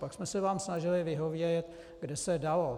Pak jsme se vám snažili vyhovět, kde se dalo.